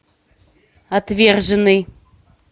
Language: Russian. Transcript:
отверженный